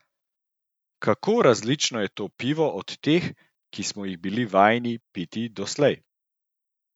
Kako različno je to pivo od teh, ki smo jih bili vajeni piti doslej?